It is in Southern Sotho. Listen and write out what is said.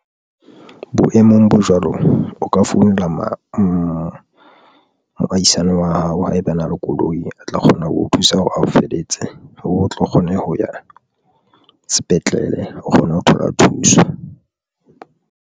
Boemong bo jwalo, o ka founela moahisane wa hao, haeba a na le koloi, a tla kgona ho o thusa hore ao feletse, o tlo kgone ho ya sepetlele, o kgona ho thola thuso.